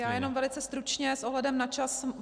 Já jenom velice stručně s ohledem na čas.